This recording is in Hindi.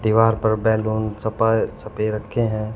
दीवार पर बैलून रखे हैं।